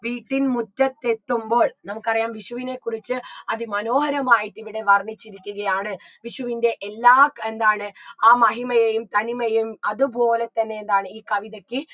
വീട്ടിൻ മുറ്റത്തെത്തുമ്പോൾ നമുക്കറിയാം വിഷുവിനെ കുറിച്ച് അതിമനോഹരമായിട്ടിങ്ങനെ വർണിച്ചിരിക്കുകയാണ് വിഷുവിൻറെ എല്ലാ ക് എന്താണ് ആ മഹിമയെയും തനിമയും അത് പോലെ തന്നെ എന്താണ് ഈ കവിതയ്ക്ക്